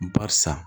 Barisa